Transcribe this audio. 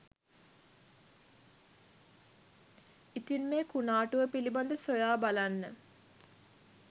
ඉතින් මේ කුණාටුව පිළිබඳව සොයා බලන්න